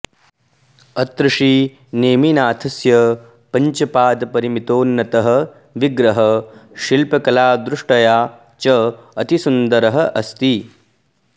अत्र श्रीनेमिनाथस्य पञ्चपादपरिमितोन्नतः विग्रहः शिल्पकलादृष्टया च अतिसुन्दरः अस्ति